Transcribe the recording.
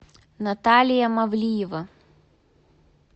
наталья мавлиева